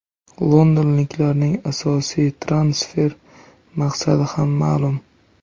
Londonliklarning asosiy transfer maqsadi ham ma’lum.